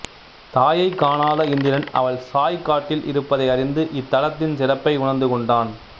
தாயைக் காணாத இந்திரன் அவள் சாய்க்காட்டில் இருப்பதை அறிந்து இத்தலத்தின் சிறப்பை உணர்ந்து கொண்டான்